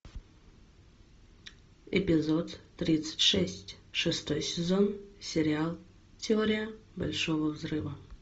эпизод тридцать шесть шестой сезон сериал теория большого взрыва